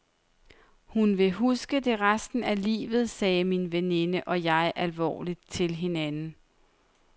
Hun vil huske det resten af livet, sagde min veninde og jeg alvorligt til hinanden.